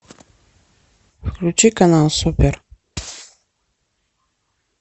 включи канал супер